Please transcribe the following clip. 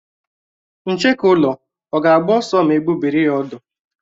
Ncheke ụlọ ọ̀ ga-agba ọsọ ma egbubiri ya ọ̀dú?